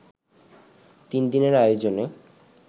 তিন দিনের আয়োজনে